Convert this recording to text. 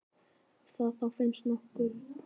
Ef það þá finnst nokkurn tímann.